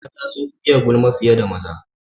Mata sun fiye gulma fiye da maza.